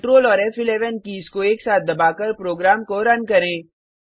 control और फ़11 keys को एक साथ दबाकर प्रोग्राम को रन करें